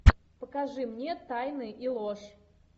покажи мне тайны и ложь